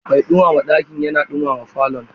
Mai ɗumama dakin yana ɗumama falon.